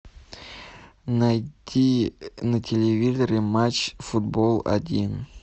найти на телевизоре матч футбол один